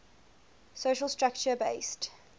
social structure based